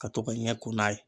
Ka to ka ɲɛ ko n'a ye